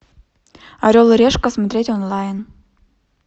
орел и решка смотреть онлайн